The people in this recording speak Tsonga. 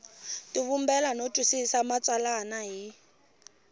tivumbela no twisisa matsalwa hi